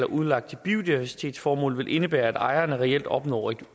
udlagt til biodiversitetsformål vil indebære at lejerne reelt opnår et